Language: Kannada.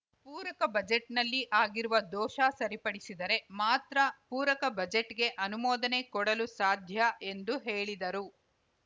ಪೂರಕ ಬಜೆಟ್‌ನಲ್ಲಿ ಆಗಿರುವ ದೋಷ ಸರಿಪಡಿಸಿದರೆ ಮಾತ್ರ ಪೂರಕ ಬಜೆಟ್‌ಗೆ ಅನುಮೋದನೆ ಕೊಡಲು ಸಾಧ್ಯ ಎಂದು ಹೇಳಿದರು